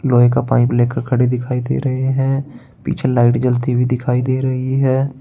लोहे का पाइप लेकर खड़े दिखाई दे रहे हैं पीछे लाइट जलती हुई दिखाई दे रही है।